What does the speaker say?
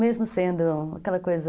Mesmo sendo aquela coisa...